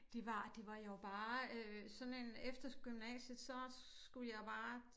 Det det var jo bare øh sådan en efter gymnasiet så skulle jeg bare